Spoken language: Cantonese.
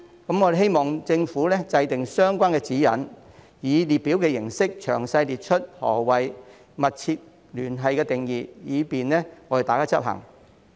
我們希望政府制訂相關指引，以列表形式詳細列出"密切聯繫"的定義，以便大家執行。